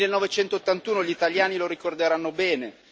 1981 gli italiani lo ricorderanno bene